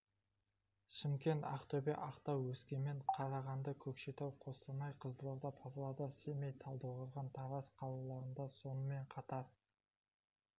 шымкент ақтөбе ақтау өскемен қарағанды көкшетау қостанай қызылорда павлодар семей талдықорған тараз қалаларында сонымен қатар